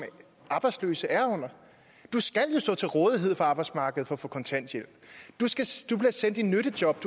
arbejdsløse er under du skal jo stå til rådighed for arbejdsmarkedet for at få kontanthjælp du bliver sendt i nyttejob